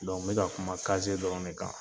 n bi ka kuma dɔrɔn de kan.